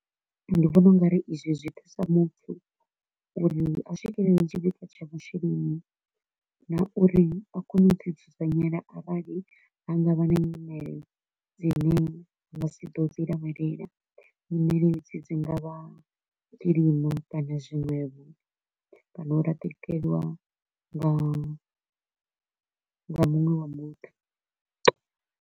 Ndi vhona u nga ri izwi zwi thusa muthu uri a swikelele tshipikwa tsha masheleni na uri a kone u ḓi dzudzanyela arali ha nga vha na nyimele dzine u nga si to u dzi lavhelela, nyimele edzi dzi nga vha kilima kana zwiṅwevho, kana u leṱeliwa nga nga muṅwe wa muṱa.